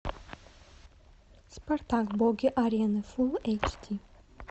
спартак боги арены фулл эйч ди